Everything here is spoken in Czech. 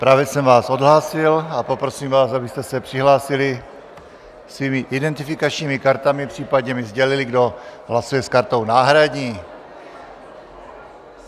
Právě jsem vás odhlásil a poprosím vás, abyste se přihlásili svými identifikačními kartami, případně mi sdělili, kdo hlasuje s kartou náhradní.